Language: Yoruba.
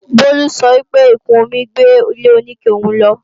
Bolu sọ pé ìkún omi gbé ilé-oníke òun lọ